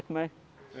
Como é?